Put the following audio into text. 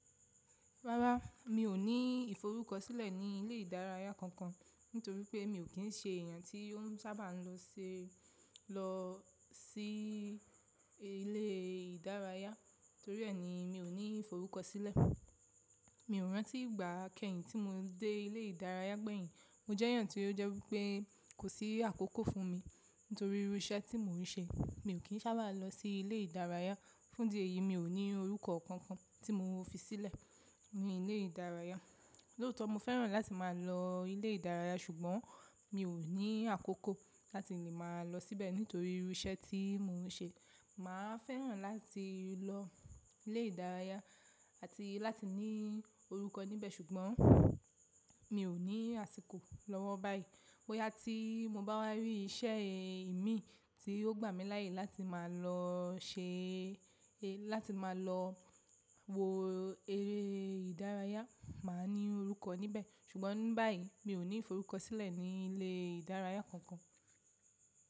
Rárá, mi ò ní ìforúkọsílẹ̀ ní ilé ìdárayá kankan nítorí pé mi ò kí ń ṣe èèyàn tí ó sábà máa ń lọ sí lọ sí ilé ìdárayá. Torí ẹni mi ò ní ìforúkọsílẹ̀. Mi ò rántí ìgbà kẹ́yìn tí mo dé ilé ìdárayá gbẹ̀yìn. Mo jẹ́ èèyàn tí ó jẹ́ wípé kò sí àkókò fún mi nítorí irú iṣẹ́ tí mò ń ṣe. Mi ò kí ń sábà lọ sí ilé ìdárayá, fún dí èyí mi ò ní orúkọ kankan tí mo fi sílẹ̀ ní ilé ìdárayá. Lóòótọ́ mo fẹ́ràn láti máa lọ ilé ìdárayá ṣùgbọ́n mi ò ní àkókò láti lè máa lọ síbẹ̀ nítorí irú iṣẹ́ tí mò ń ṣe. Mà á fẹ́ràn láti lọ ilé ìdárayá àti láti ní orúkọ níbẹ̀ ṣùgbọ́n mi ò ní àsìkò lọ́wọ́ báyìí. Bóyá tí mo bá wa rí iṣẹ́ ìmí tí yóò gbà mí láyé láti malo láti máa lọ wo eré ìdárayá, mà á ní orúkọ níbẹ̀. Ṣùgbọ́n báyìí mi ò ní ìforúkọsílẹ̀ ní ilé ìdárayá kankan.